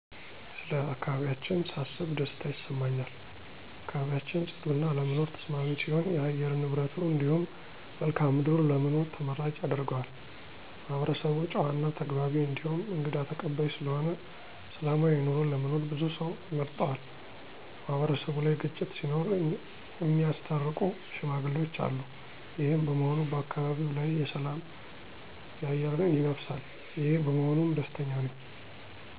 ስለ አካባቢያችን ሳስብ ደስታ ይሰማኛል። አካባቢያችን ፅዱ እና ለመኖር ተስማሚ ሲሆን የአየር ንብረቱ እንዲሁም መልክአ ምድሩ ለመኖር ተመራጭ ያደርገዋል። ማህበረሰቡ ጨዋ እና ተግባቢ እንዲሁም እንግዳ ተቀባይ ስለሆነ ሰላማዊ ኑሮ ለመኖር ብዙ ሰው ይመርጠዋል። ማህበረሰቡ ላይ ግጭት ሲኖር እሚያስታርቁ ሽማግሌዎች አሉ። ይሄም በመሆኑ በአካባቢው ላይ የሰላም አየር ይነፍሳል። ይሄ በመሆኑም ደስተኛ ነኝ።